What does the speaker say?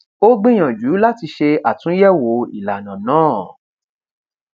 ó gbìyànjú láti ṣe àtúnyẹwò ìlànà náà